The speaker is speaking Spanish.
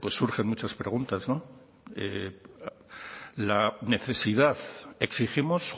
pues surgen muchas preguntas no la necesidad exigimos